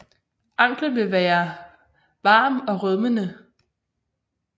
Anklen vil være varm og rødmende